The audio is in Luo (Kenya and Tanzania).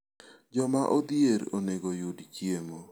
Joma odhier onego oyud chiemo.